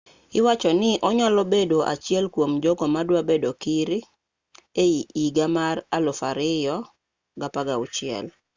iwachoni onyalo bedo achiel kuom jogo madwa bedo kir higa mar 2016